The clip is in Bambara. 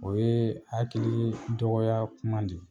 O ye hakili dɔgɔya kuma de ye.